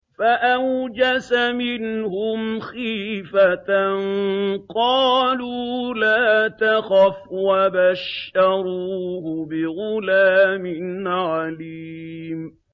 فَأَوْجَسَ مِنْهُمْ خِيفَةً ۖ قَالُوا لَا تَخَفْ ۖ وَبَشَّرُوهُ بِغُلَامٍ عَلِيمٍ